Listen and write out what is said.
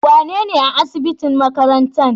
Wane ne a asibitin makarantan?